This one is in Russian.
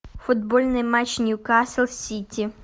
футбольный матч ньюкасл сити